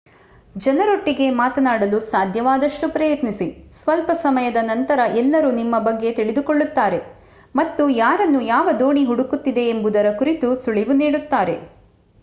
ಜನರೊಟ್ಟಿಗೆ ಮಾತನಾಡಲು ಸಾಧ್ಯವಾದಷ್ಟು ಪ್ರಯತ್ನಿಸಿ ಸ್ವಲ್ಪ ಸಮಯದ ನಂತರ ಎಲ್ಲರೂ ನಿಮ್ಮ ಬಗ್ಗೆ ತಿಳಿದುಕೊಳ್ಳುತ್ತಾರೆ ಮತ್ತು ಯಾರನ್ನು ಯಾವ ದೋಣಿ ಹುಡುಕುತ್ತಿದೆ ಎಂಬುದರ ಕುರಿತು ಸುಳಿವು ನೀಡುತ್ತಾರೆ